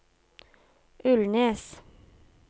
Ulnes